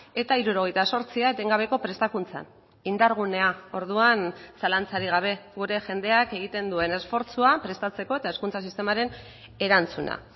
eta hirurogeita zortzia etengabeko prestakuntzan indargunea orduan zalantzarik gabe gure jendeak egiten duen esfortzua prestatzeko eta hezkuntza sistemaren erantzuna